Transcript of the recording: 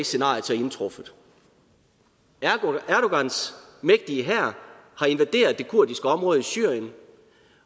scenariet så indtruffet erdogans mægtige hær har invaderet det kurdiske område i syrien